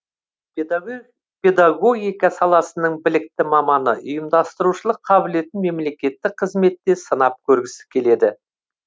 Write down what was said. педагогика саласының білікті маманы ұйымдастырушылық қабілетін мемлекеттік қызметте сынап көргісі келеді